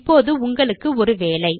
இப்பொழுது உங்களுக்கு ஒரு வேலை